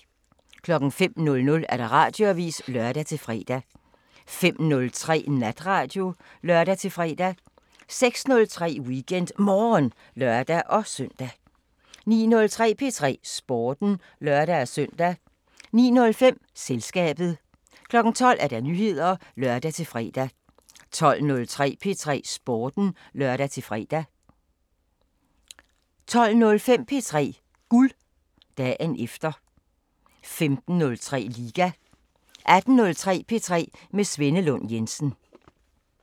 05:00: Radioavisen (lør-fre) 05:03: Natradio (lør-fre) 06:03: WeekendMorgen (lør-søn) 09:03: P3 Sporten (lør-søn) 09:05: Selskabet 12:00: Nyheder (lør-fre) 12:03: P3 Sporten (lør-fre) 12:05: P3 Guld – dagen efter 15:03: Liga 18:03: P3 med Svenne Lund Jensen